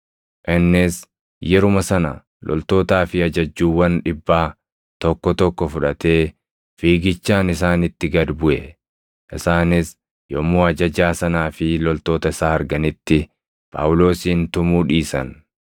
Innis yeruma sana loltootaa fi ajajjuuwwan dhibbaa tokko tokko fudhatee fiigichaan isaanitti gad buʼe. Isaanis yommuu ajajaa sanaa fi loltoota isaa arganitti Phaawulosin tumuu dhiisan.